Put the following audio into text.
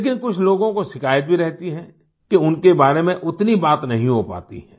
लेकिन कुछ लोगों को शिकायत भी रहती है कि उनके बारे में उतनी बात नहीं हो पाती है